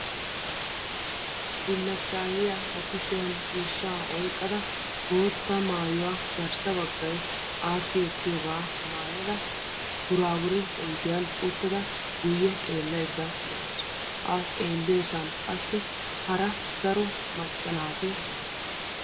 Bullachchayiya ba kusbiyan ciishsha oyqqadda bootta maayuwa garssa baggay aakki ekkiyogaa maayada buraabure oyidiyan uttada guyye xeellayidda de'awusu a xeelliyoosan qassi hara daro macca naatti de'osonna.